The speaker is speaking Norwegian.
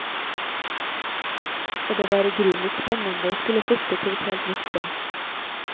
Og det var i grunnen litt spennende å skulle flytte til et helt nytt sted.